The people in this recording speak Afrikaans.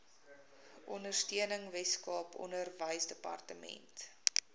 ondersteuning weskaap onderwysdepartement